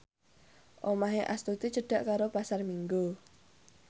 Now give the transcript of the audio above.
omahe Astuti cedhak karo Pasar Minggu